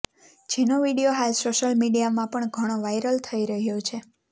જેનો વીડિયો હાલ સોશિયલ મીડિયામાં પણ ઘણો વાયરલ થઇ રહ્યો છે